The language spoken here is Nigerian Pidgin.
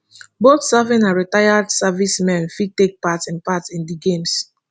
both serving and retired servicemen fit take part in part in di games